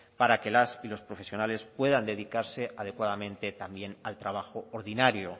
para que las y los profesionales puedan dedicarse adecuadamente también al trabajo ordinario